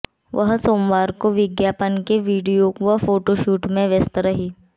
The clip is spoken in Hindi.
वह सोमवार को विज्ञापन के वीडियो व फोटो शूट में व्यस्त रहीं